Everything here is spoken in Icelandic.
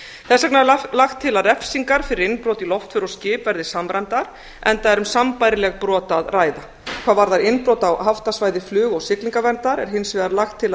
þess vegna er lagt til að refsingar fyrir innbrot í loftför og skip verði samræmdar enda er um sambærileg brot að ræða hvað varðar innbrot á haftasvæði flug og siglingaverndar er hins vegar lagt til að